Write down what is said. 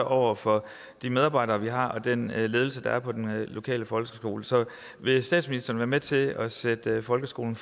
over for de medarbejdere vi har og den ledelse der er på den lokale folkeskole så vil statsministeren være med til at sætte folkeskolen